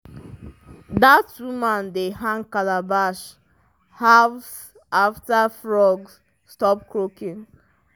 dat woman dey hang calabash halves after frogs stop croaking.